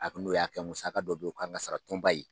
A n'u y'a kɛ musaka dɔ bɛ ye o kan ka sara tɔnba ye.